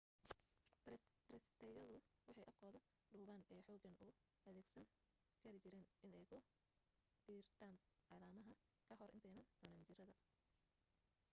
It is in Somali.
taraysatoobyadu waxay afkooda dhuuban ee xooggan u adeegsan kari jireen inay ku diirtaan caleemaha ka hor intanaay cunin jiradda